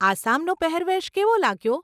આસામનો પહેરવેશ કેવો લાગ્યો?